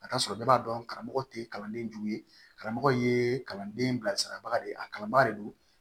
A ka sɔrɔ bɛɛ b'a dɔn karamɔgɔ tɛ kalanden jugu ye karamɔgɔ ye kalanden bilasirabaga de ye a kalanba de don